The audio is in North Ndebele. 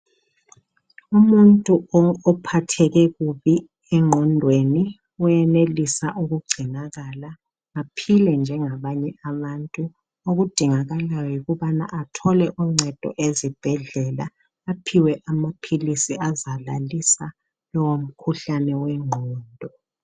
Umuntu ophatheke kubi engqondweni uyenelisa ukugcinakala aphile njengabanye abantu okudingakalayo yikuthi athole uncedo ezibhedlela alhiwe amaphilisi azalalisa lowomkhuhlane wengqondo.